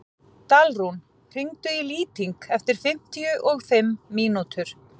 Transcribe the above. Dalrún, hringdu í Lýting eftir fimmtíu og fimm mínútur.